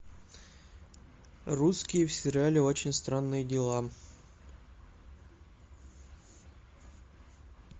русские в сериале очень странные дела